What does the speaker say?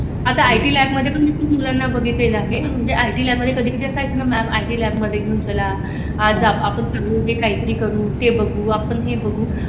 आता IT lab मध्ये पण पुख लोकांना बघितल आहे. IT ल्याब मधे कधी कधी अस आहेत ना आय. टी ल्याब मधे घिऊन चला. आज आपण काही तरी करू आपण हे बागू